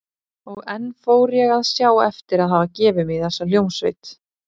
Og enn fór ég að sjá eftir að hafa gefið mig í þessa hljómsveit.